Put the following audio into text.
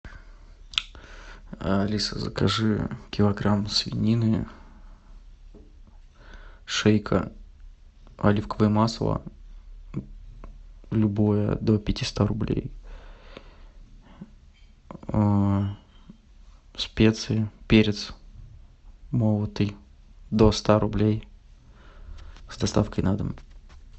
алиса закажи килограмм свинины шейка оливковое масло любое до пятиста рублей специи перец молотый до ста рублей с доставкой на дом